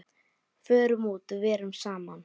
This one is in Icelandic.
Förum út, verum saman.